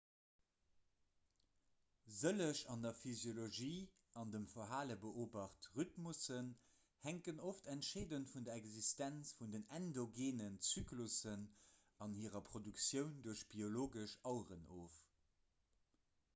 sëlleg an der physiologie an dem verhale beobacht rhythmussen hänken oft entscheedend vun der existenz vun endogeenen zyklussen an hirer produktioun duerch biologesch aueren of